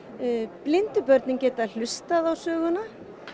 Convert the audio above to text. blindu börnin geta hlustað á söguna